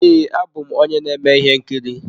Ee, abụ m onye na-eme ihe nkiri.